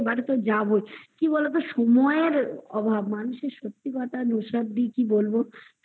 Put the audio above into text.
যাবোই কি বলতো সময়ের অভাব না মানুষের সত্যি কথা নুসরাত দি কি বলবো